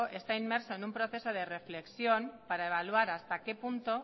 está inmerso en un proceso de reflexión para evaluar hasta qué punto